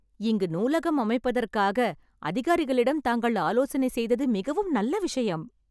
இங்கு நூலகம் அமைப்பதற்காக அதிகாரிகளிடம் தாங்கள் ஆலோசனை செய்தது மிகவும் நல்ல விஷயம்